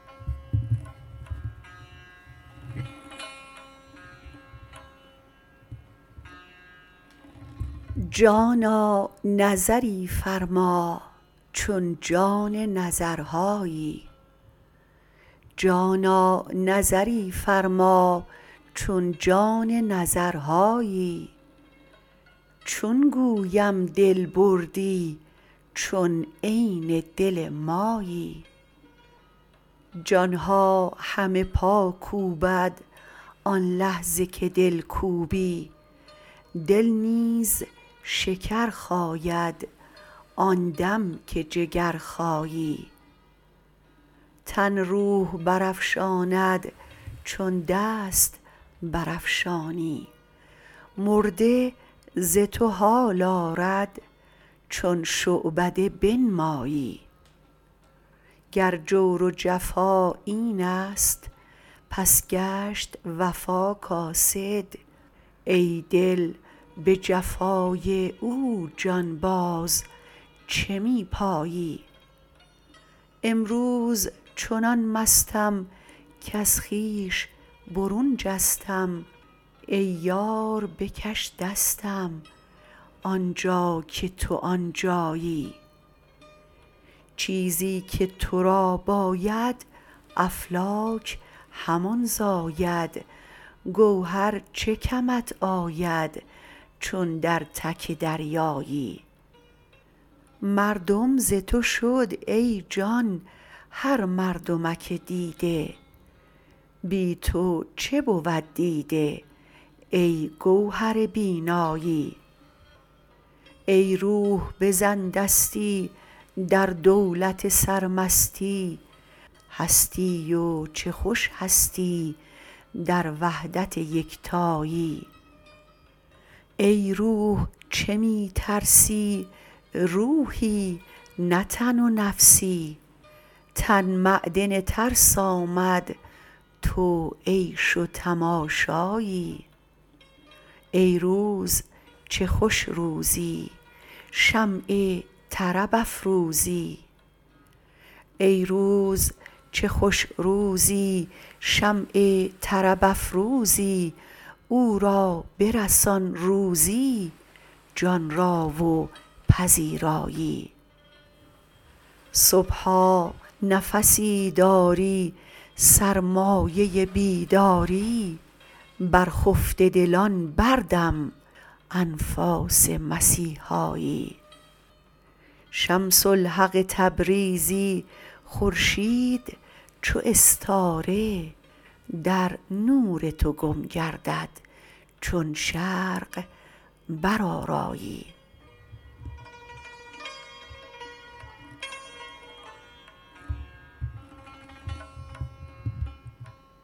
جانا نظری فرما چون جان نظرهایی چون گویم دل بردی چون عین دل مایی جان ها همه پا کوبند آن لحظه که دل کوبی دل نیز شکر خاید آن دم که جگر خایی تن روح برافشاند چون دست برافشانی مرده ز تو حال آرد چون شعبده بنمایی گر جور و جفا این است پس گشت وفا کاسد ای دل به جفای او جان باز چه می پایی امروز چنان مستم کز خویش برون جستم ای یار بکش دستم آن جا که تو آن جایی چیزی که تو را باید افلاک همان زاید گوهر چه کمت آید چون در تک دریایی مردم ز تو شد ای جان هر مردمک دیده بی تو چه بود دیده ای گوهر بینایی ای روح بزن دستی در دولت سرمستی هستی و چه خوش هستی در وحدت یکتایی ای روح چه می ترسی روحی نه تن و نفسی تن معدن ترس آمد تو عیش و تماشایی ای روز چه خوش روزی شمع طرب افروزی او را برسان روزی جان را و پذیرایی صبحا نفسی داری سرمایه بیداری بر خفته دلان بردم انفاس مسیحایی شمس الحق تبریزی خورشید چو استاره در نور تو گم گردد چون شرق برآرایی